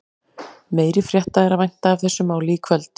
Meiri frétta er að vænta af þessu máli í kvöld.